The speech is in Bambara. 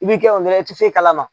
I b'i kɛ i tɛ foyi kalama.